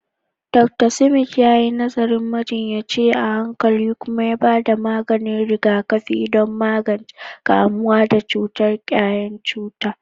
Dr. Smith yayi nazarin majinyaci a hankali kuma ya bada maganin rigakafi don magance kamuwa da cutar ƙwayan cuta.